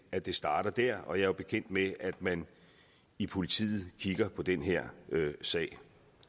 at det starter der og jeg er bekendt med at man i politiet kigger på den her sag